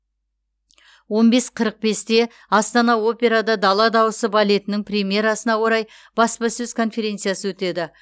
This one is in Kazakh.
он бес қырық бесте астана операда дала дауысы балетінің премьерасына орай баспасөз конференциясы өтеді